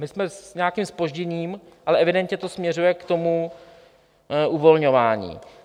My jsme s nějakým zpožděním, ale evidentně to směřuje k tomu uvolňování.